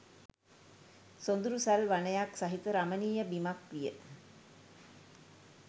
සොඳුරු සල් වනයක් සහිත රමණීය බිමක් විය.